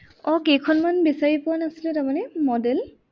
আহ কেইখনমান বিচাৰি পোৱা নাছিলো তাৰমানে model